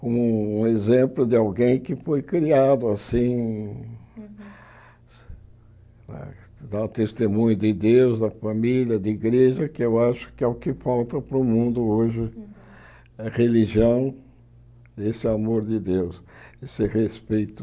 como um exemplo de alguém que foi criado assim, dá o testemunho de Deus, da família, da igreja, que eu acho que é o que falta para o mundo hoje, a religião, esse amor de Deus, esse respeito.